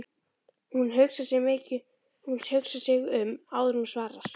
Hún hugsar sig um áður en hún svarar